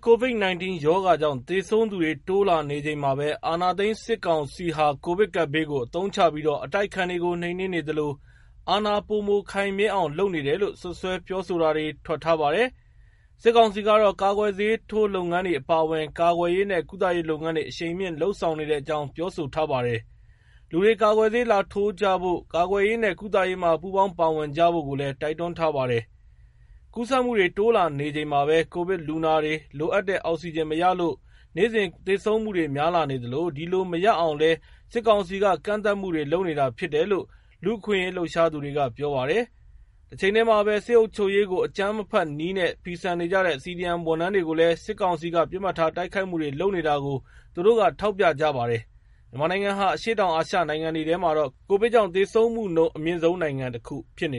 COVID-19 ရောဂါကြောင့် သေဆုံးသူတွေ တိုးလာနေချိန်မှာပဲ အာဏာသိမ်း စစ်ကောင်စီဟာ ကိုဗစ်ကပ်ဘေးကို အသုံးချပြီး အတိုက်အခံတွေကို နှိမ်နင်းနေသလို အာဏာ ပိုမို ခိုင်မြဲအောင်လုပ်နေတယ်လို့ စွပ်စွဲပြောဆိုတာတွေ ထွက်ထားပါတယ်။ စစ်ကောင်စီကတော့ ကာကွယ်ဆေးထိုးလုပ်ငန်းတွေ အပါအဝင် ကာကွယ်ရေးနဲ့ ကုသရေးလုပ်ငန်းတွေ အရှိန်မြှင့် လုပ်ဆောင်နေတဲ့အကြောင်း ပြောဆိုထားပါတယ်။ လူတွေ ကာကွယ်ဆေး လာထိုးကြဖို့၊ ကာကွယ်ရေးနဲ့ ကုသရေးမှာ ပူးပေါင်းပါဝင်ကြဖို့ လည်း တိုက်တွန်းထားပါတယ်။ ကူးစက်မှုတွေ တိုးလာနေချိန်မှာ ကိုဗစ်လူနာတွေ လိုအပ်တဲ့အောက်စီဂျင်မရလို့ နေ့စဉ် သေဆုံးမှုတွေ များလာနေသလို ဒီလိုမရအောင်လည်း စစ်ကောင်စီက ကန့်သတ်မှုတွေ လုပ်နေတာဖြစ်တယ်လို့ လူ့အခွင့်အရေး လှုပ်ရှားသူတွေက ပြောပါတယ်။ တချိန်တည်းမှာလည်း စစ်အုပ်ချုပ်ရေးကို အကြမ်းမဖက်နည်းနဲ့ ဖီဆန်နေကြတဲ့ CDM ဆေးဝန်ထမ်းတွေကိုလည်း စစ်ကောင်စီက ပစ်မှတ်ထား တိုက်ခိုက်မှုတွေ လုပ်နေတာကို သူတို့က ထောက်ပြကြပါတယ်။ မြန်မာနိုင်ငံဟာ အရှေ့တောင်အာရှ နိုင်ငံတွေထဲမှာ ကိုဗစ်ကြောင့် သေဆုံးမှုနှုန်း အမြင့်ဆုံးနိုင်ငံတခု ဖြစ်န